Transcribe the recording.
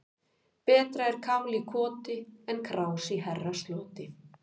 Betra er kál í koti en krás í herrasloti.